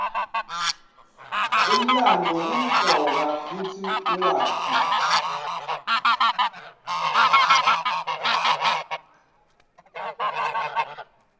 umlandvo kumcoka kutsi uwati